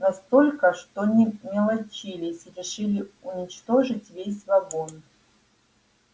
настолько что не мелочились решили уничтожить весь вагон